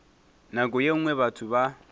nako ye nngwe batho ba